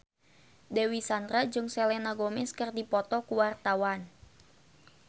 Dewi Sandra jeung Selena Gomez keur dipoto ku wartawan